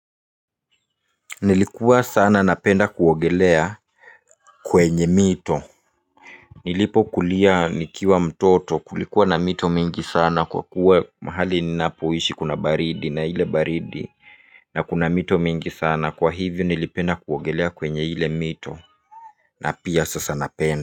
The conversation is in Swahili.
Nilikuwa sana napenda kuogelea kwenye mito nilipokulia nikiwa mtoto kulikuwa na mito mingi sana kwa kuwa mahali ninapoishi kuna baridi na hile baridi na kuna mito mingi sana kwa hivyo nilipenda kuogelea kwenye hile mito. Na pia sasa napenda.